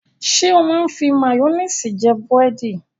Ṣé ó máa ń fi máyónísì jẹ búrẹ́dì?